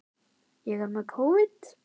Þá verðurðu að senda henni mig, sagði hann.